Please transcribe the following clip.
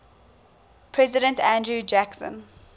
president andrew jackson